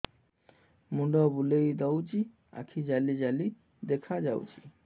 ମୁଣ୍ଡ ବୁଲେଇ ଦଉଚି ଆଖି ଜାଲି ଜାଲି ଦେଖା ଯାଉଚି